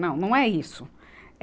Não, não é isso. é